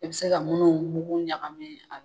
I bɛ se ka munnu mugu ɲaga min.